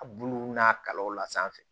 A bulu n'a kawla sanfɛ